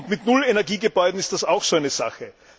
Mit Null Energie Gebäuden ist das auch so eine Sache.